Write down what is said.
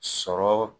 Sɔrɔ